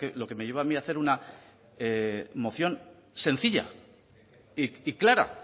lo que me llevó a mí a hacer una moción sencilla y clara